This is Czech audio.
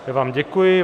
Já vám děkuji.